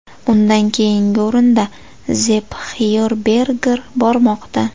Undan keyingi o‘rinda Zepp Xyerberger bormoqda.